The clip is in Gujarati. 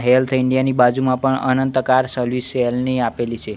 હેલ્થ ઈન્ડિયા ની બાજુમાં પણ અનંત કાર સર્વિસ સેલની આપેલી છે.